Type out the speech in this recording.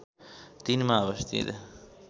३ मा अवस्थित